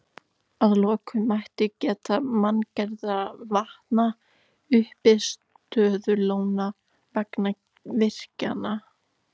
Að lokum mætti geta manngerðra vatna, uppistöðulóna, vegna virkjana.